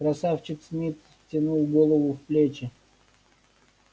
красавчик смит втянул голову в плечи